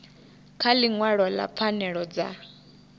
kha ḽiṅwalo ḽa pfanelo dza